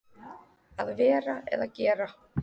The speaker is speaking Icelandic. Að vera eða gera